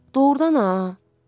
Doğrudan ha.